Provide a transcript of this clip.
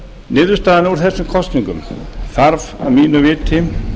niðurstaðan úr þessum kosningum þarf að mínu viti